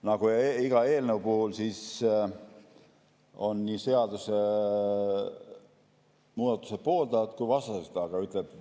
Nagu iga eelnõu puhul on ka siin nii seadusemuudatuse pooldajaid kui ka vastaseid.